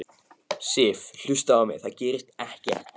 Sif. hlustaðu á mig. það gerist ekkert!